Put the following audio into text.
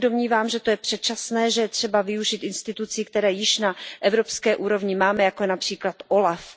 Já se domnívám, že to je předčasné, že je třeba využít institucí, které již na evropské úrovni máme, jako je například OLAF.